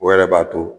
O yɛrɛ b'a to